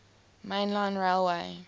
main line railway